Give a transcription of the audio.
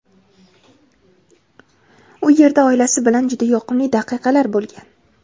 u yerda oilasi bilan juda yoqimli daqiqalar bo‘lgan.